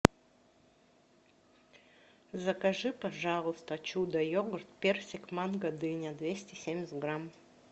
закажи пожалуйста чудо йогурт персик манго дыня двести семьдесят грамм